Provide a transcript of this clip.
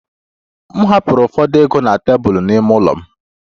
M hapụrụ ụfọdụ ego na tebụl n'ime ụlọ m